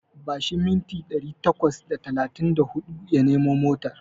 Bashi mintina ɗari takwas da talatin da huɗu ya nemo motar.